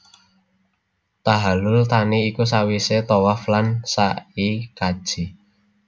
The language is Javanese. Tahallul thani iku sawisé tawaf lan sa i kaji